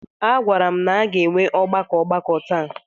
A gwara m na a ga-enwe ọgbakọ ọgbakọ taa.